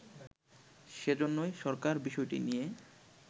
সেজন্যই সরকার বিষয়টি নিয়ে